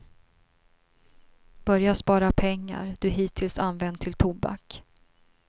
Börja spara pengar du hittills använt till tobak.